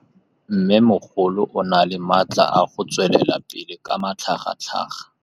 Mmêmogolo o na le matla a go tswelela pele ka matlhagatlhaga.